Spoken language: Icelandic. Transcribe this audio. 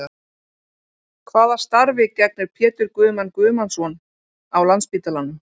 Hvaða starfi gegnir Pétur Guðmann Guðmannsson á Landspítalanum?